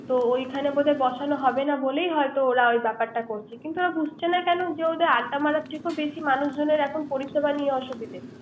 তো ওইখানে বোধ হয় বসানো হবে না বলেই হয়ত ওই ব্যাপারটা বলছে। কিন্ত ওরা বুঝছে না কেন ওদের আড্ডা মারা থেকেও মানুষজনের এখন পরিসেবা নিয়ে অসুবিধা